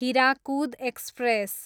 Hirakud express